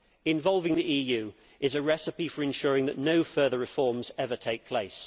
Involving the EU is a recipe for ensuring that no further reforms ever take place.